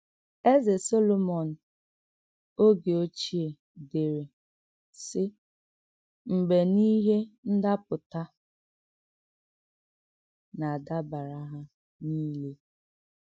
Ézè Solomọń ògé ochie dèré, sị́: “Mgbe nà íhè ndàpụ̀tà nà-adàbárà hà nìlè.”